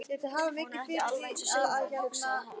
Er hún ekki alveg eins og saumavél, hugsaði það.